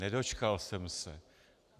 Nedočkal jsem se.